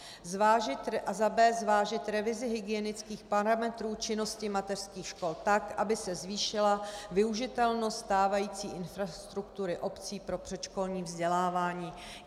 A za b) zvážit revizi hygienických parametrů činnosti mateřských škol tak, aby se zvýšila využitelnost stávající infrastruktury obcí pro předškolní vzdělávání.